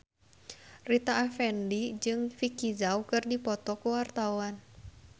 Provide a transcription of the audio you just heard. Rita Effendy jeung Vicki Zao keur dipoto ku wartawan